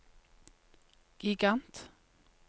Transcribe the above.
gigant